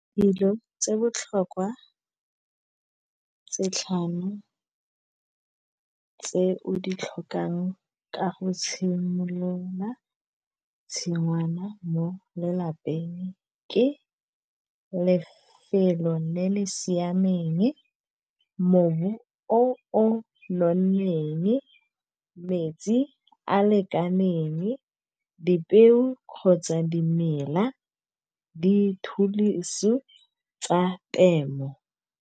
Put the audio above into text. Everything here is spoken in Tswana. Dilo tse botlhokwa setlhano tse o di tlhokang ka go tshimolola tshingwana mo lelapeng ke lefelo le le siameng, mobu o nonneng, metsi a lekaneng, dipeo kgotsa dimela di thulosu tsa temo.